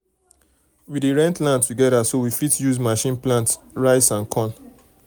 we dey rent land together so we fit use machine plant rice and corn.